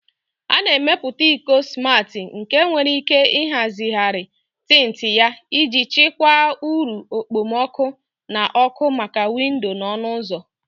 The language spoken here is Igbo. A na-emepụta iko smati nke nwere ike ịhazigharị tint ya iji chịkwaa uru okpomọkụ na ọkụ maka windo na ọnụ ụzọ.